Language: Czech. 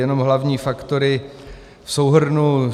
Jenom hlavní faktory v souhrnu.